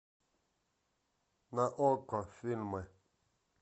на окко фильмы